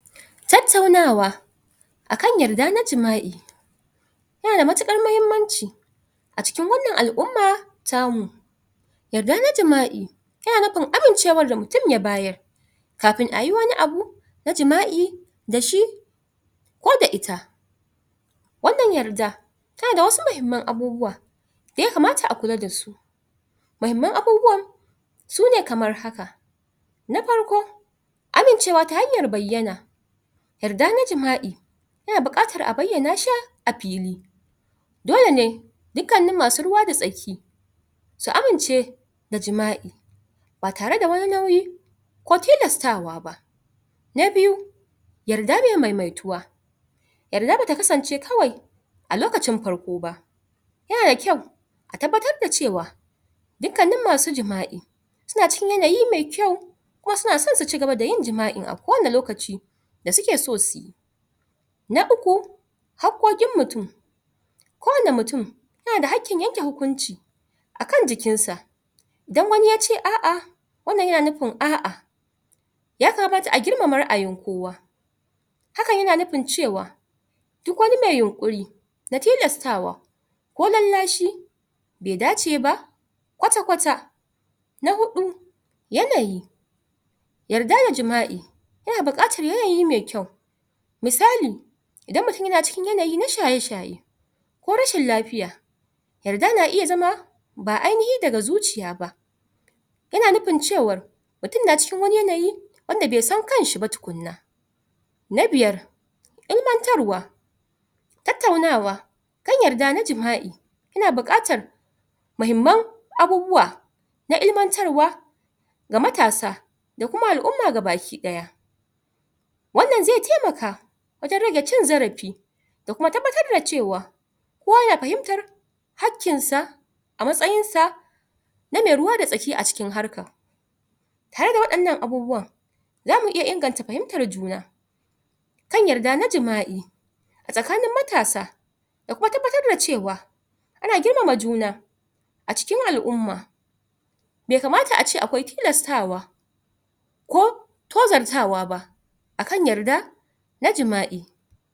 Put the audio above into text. Tattaunawa akan yadda na jima'i yana da matuƙar muhimmanci a cikin wannan al'umma tamu yadda na jima'i yana nufin amincewar da mutum ya bayar kafin a yi wani abu na jima'i da shi ko da ita wannan yadda tana da wasu muhimman abubuwa ya kamata akula da su muhimman abubuwa su ne kamar haka; na farko amincewa ta hanyar bayyana yadda na jima'i yana buƙatar a bayyana shi a fili dole ne dukkannin masu ruwa da tsaki su amince da jima'i ba tare da wani nauyi ko tilastawa ba na biyu yadda mai maimaituwa yadda da ta kasance kawai a lokacin farko ba yana dakyau ka tabbatar da cewa dukkanin masu jima'i suna cikin yanayi mai kyau kuma suna son su cigaba da jima'in a kowane lokaci da suke so su yi na uku haƙoƙin mutum kowane mutum yana da haƙƙin yanke hukunci akan jikinsa idan wani ya ce a'a wannan yana nifin a'a ya kamata a girmama ra'ayin kowa hakan yana nufin cewa duk wani mai yunƙuri da tilastawa ko lallashi bai dace ba kwata-kwata na huɗu yanayi yadda da jima'i yana buƙatar yanayi mai kyau misali idan mutum yan cikin yanayi na shaye-shaye ko rashin lafiya yarda na iya zama ba ainihi daga zuciya ba yana nufin cewa mutum na cikin wani yanayi wanda bai san kansa ba tukunna na biyar illartarwa tattaunawa ƙin yadda na jima'i ina buƙatar muhimman abubuwa na ilimantarwa ga matasa da kuma al'umma gabaki ɗaya wannan zai taimaka fita gada cin zarafi da kuma tabbatar da cewa ko ya fahimtar hankinsa a matsayinsa na mai ruwa da tsaki a cikin harka tare da waɗannan abubuwa za mu iya inganta fahimtar juna kan yadda na jima'i tsakanin matasa da kuma tabbatar da cewa ana girmama juna a cikin al'umma bai kamata a ce akwai tilastawa ko tozartawa ba akan yadda na jima'i